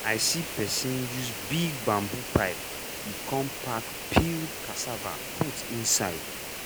i see person use big bamboo pipe e come pack peeled cassava put inside.